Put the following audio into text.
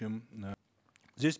чем э здесь